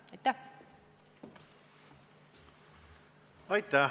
Aitäh!